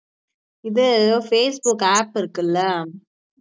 இது ஏதோ facebook app இருக்குல்ல